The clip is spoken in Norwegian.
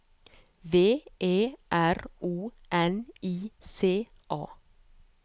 V E R O N I C A